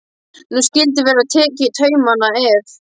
Nú skyldi verða tekið í taumana, ef.